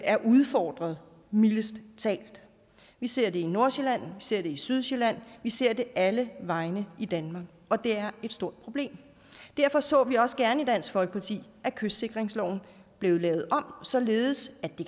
er udfordret mildest talt vi ser det i nordsjælland vi ser det i sydsjælland og vi ser det alle vegne i danmark og det er et stort problem derfor så vi også gerne i dansk folkeparti at kystsikringsloven blev lavet om således at det